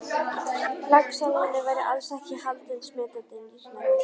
Laxalóni væri alls ekki haldinn smitandi nýrnaveiki.